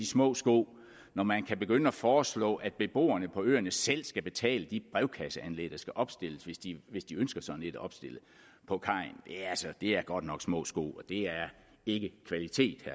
små sko når man kan begynde at foreslå at beboerne på øerne selv skal betale de brevkasseanlæg der skal opstilles hvis de hvis de ønsker sådan et opstillet på kajen det er godt nok små sko det er ikke kvalitet